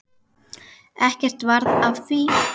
Ekkert varð af því.